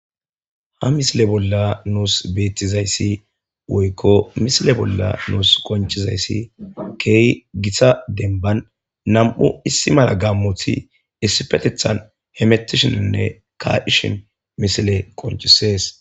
ha misile bolla nuus beettizayssi woykko misile bolla nuus qoncizayssi kehi gita denban nam'u issi mala gammoti issifetethan hemetishininne kacishin misile qonchisees